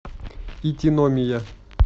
итиномия